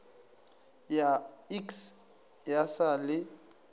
ya iks ya sa le